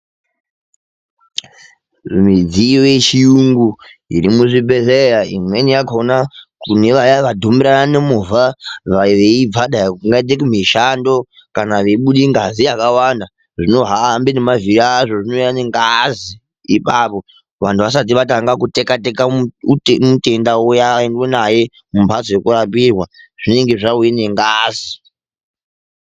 Midziyo yechiyungu irimuzvibhedhlera imweni yakona kunevaya vadhumirana nemovha veibva dai kungaite kumishando kana veibude ngazi yakawanda zvinohambe nemavhiri azvo zvinouya mengazi ipapo vanhu vasati vatanga kutekateka mutenda uyani oendwe naye mumbatso yekurapirwa zvinenge zvauye nengazi.